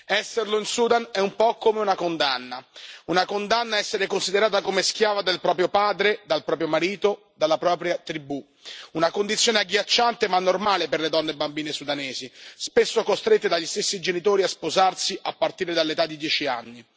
Esserlo in Sudan è un po' come una condanna, una condanna a essere considerata come schiava del proprio padre, del proprio marito, della propria tribù. Una condizione agghiacciante ma normale per le donne e le bambine sudanesi, spesso costrette dagli stessi genitori a sposarsi a partire dall'età di dieci anni.